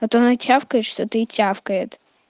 а то она чавкает что то и тявкает